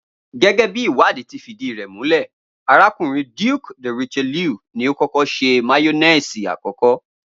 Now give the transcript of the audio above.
Gé̩gé̩ bí ìwádìí ti fìdí rè̩ múlè̩, arákùnrin Duke de Richelieu ni ó s̩e máyó̩néèsì àkó̩kó̩